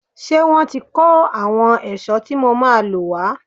Ṣé wọ́n ti kó àwọn ohun ẹ̀ṣọ́ tí mo máa lò wá?